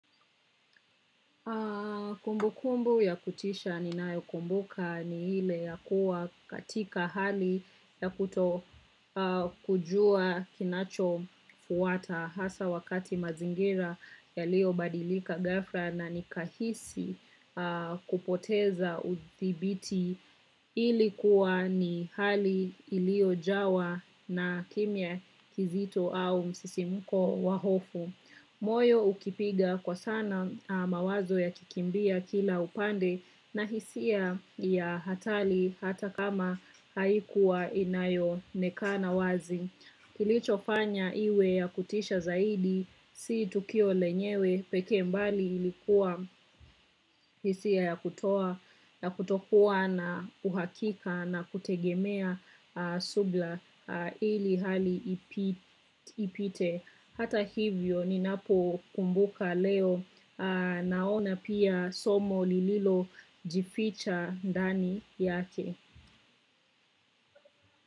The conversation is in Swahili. Kumbukumbu ya kutisha ninayokumbuka ni ile ya kuwa katika hali ya kutokujua kinachofuata hasa wakati mazingira yaliyobadilika ghafla na nikahisi kupoteza udhibiti ilikuwa ni hali iliyojawa na kimya kizito au msisimko wa hofu. Moyo ukipiga kwa sana mawazo yakikimbia kila upande na hisia ya hatari hata kama haikuwa inayoonekana wazi. Kilichofanya iwe ya kutisha zaidi, si tukio lenyewe pekee, bali ilikuwa hisia ya kutokuwa na uhakika na kutegemea subira ili hali ipite. Hata hivyo ninapokumbuka leo naona pia somo lililojificha ndani yake.